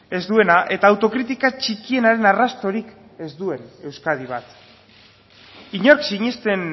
ez duena eta autokritika txikienaren arrastorik ez duen euskadi bat inork sinesten